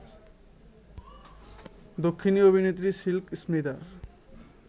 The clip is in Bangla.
দক্ষিণী অভিনেত্রী সিল্ক স্মিতার